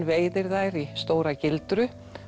veiðir þær í stóra gildru